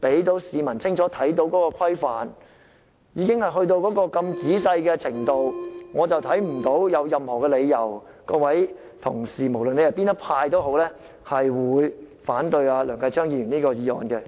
我們的要求已經列得如此仔細，我看不到有任何理由，足以支持任何派別的同事反對梁繼昌議員的議案。